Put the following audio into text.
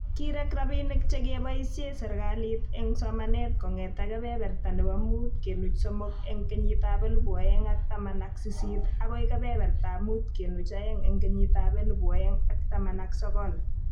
Kirek rabiinik che keboisie serikalit eng somanet kong'ete kebeberta nebo muut kenuch somok eng kenyitab elebu oeng ak taman ak sisit agoi kebebertab muut kenuch oeng eng kenyitab elebu oeng ak taman ak sokol